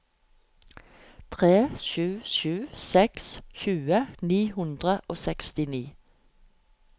tre sju sju seks tjue ni hundre og sekstini